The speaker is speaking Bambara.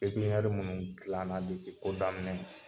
Pepiɲɛri minnu gilanna depi ko daminɛ na